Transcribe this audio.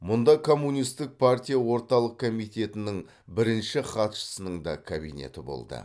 мұнда коммунистік партия орталық комитетінің бірінші хатшысының да кабинеті болды